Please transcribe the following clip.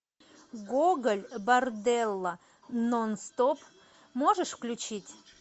гоголь борделло нон стоп можешь включить